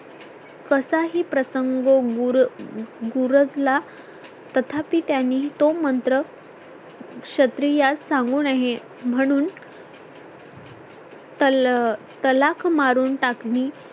कसा ही प्रसंग गुरदला तथापि त्यांनी तो मंत्र क्षत्रियास सांगू नये म्हणून तलाक मारून टाकली